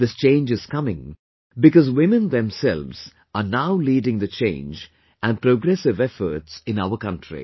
This change is coming because women themselves are now leading the change and progressive efforts in our country